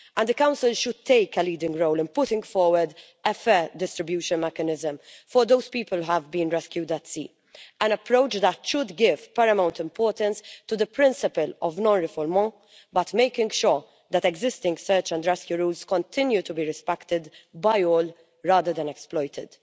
The Council should take a leading role in putting forward a fair distribution mechanism for those people who have been rescued at sea an approach that should give paramount importance to the principle of non refoulement but making sure that existing search and rescue rules continue to be respected by all rather than exploited.